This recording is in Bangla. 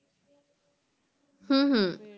হম হম